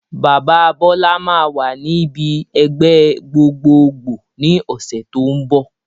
Bàbá Bọlá máa wà ní ibi ẹgbẹ́ gbogbogboo ni ọ̀sẹ̀ tó ń bọ̀